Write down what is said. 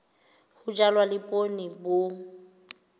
ho jalwa le poone bo